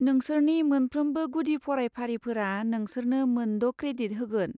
नोंसोरनि मोनफ्रोमबो गुदि फरायफारिफोरा नोंसोरनो मोनद' क्रेडिट होगोन।